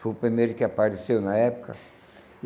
Foi o primeiro que apareceu na época.